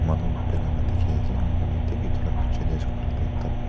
manu bera la dikhi ase enakori kena theek etu la pichi dae asae koilae toh ekta.